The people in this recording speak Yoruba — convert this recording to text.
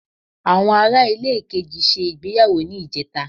Àwọn Ará ilé kejì ṣe ìgbéyàwó ní ìjẹta